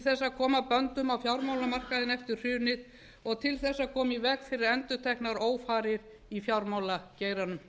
að koma böndum á fjármálamarkaðinn eftir hrunið og til þess að koma í veg fyrir endurteknar ófarir í fjármálageiranum